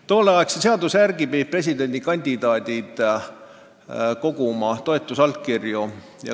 Tolleaegse seaduse järgi pidid presidendikandidaadid koguma toetusallkirju.